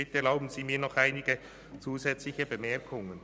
Bitte erlauben Sie mir noch einige zusätzliche Bemerkungen.